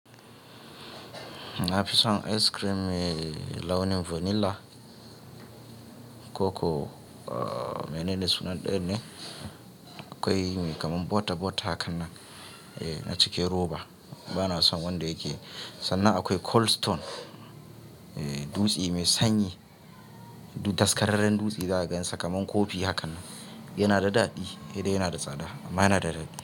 Na fi son ice cream mai launin vanilla, koko, uh, menene sunan danye akwai mai kaman bota-bota hakanan, eh, na cike roba. Ba na son wanda yake sannan akwai Cold Stone, eh, dutse mai sanyi, daskararren dutse za a gansa kaman kofi hakanan. Yana da daɗi, dai yana da tsada amma yana da daɗi.